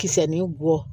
Kisɛ ni bɔ